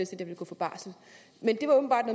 der vil gå på barsel men det var åbenbart